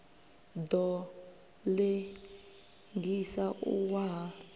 ḓo ḽengisa u wa ha